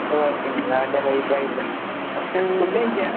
ഓഹ് പിന്നെന്താ വേണ്ടെ? വൈബായല്ലോ. ഫുഡഴിച്ചാ?